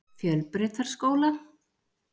Fjölbrautaskóla